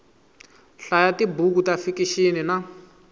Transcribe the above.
hlaya tibuku ta fikixini na